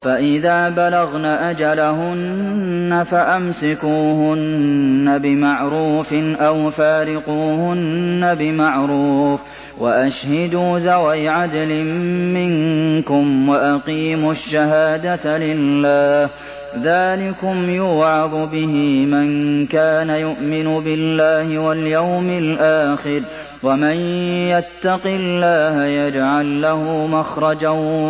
فَإِذَا بَلَغْنَ أَجَلَهُنَّ فَأَمْسِكُوهُنَّ بِمَعْرُوفٍ أَوْ فَارِقُوهُنَّ بِمَعْرُوفٍ وَأَشْهِدُوا ذَوَيْ عَدْلٍ مِّنكُمْ وَأَقِيمُوا الشَّهَادَةَ لِلَّهِ ۚ ذَٰلِكُمْ يُوعَظُ بِهِ مَن كَانَ يُؤْمِنُ بِاللَّهِ وَالْيَوْمِ الْآخِرِ ۚ وَمَن يَتَّقِ اللَّهَ يَجْعَل لَّهُ مَخْرَجًا